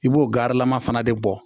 I b'o garilama fana de bɔ